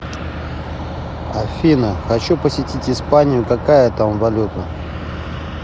афина хочу посетить испанию какая там валюта